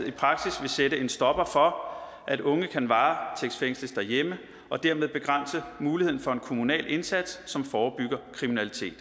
i praksis vil sætte en stopper for at unge kan varetægtsfængsles derhjemme og dermed begrænse muligheden for en kommunal indsats som forebygger kriminalitet